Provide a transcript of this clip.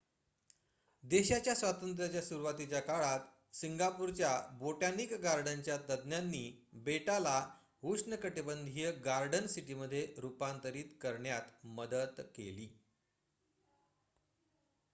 देशाच्या स्वातंत्र्याच्या सुरुवातीच्या काळात सिंगापूरच्या बोटॅनिक गार्डनच्या तज्ज्ञांनी बेटाला उष्णकटिबंधीय गार्डन सिटीमध्ये रूपांतरित करण्यात मदत केली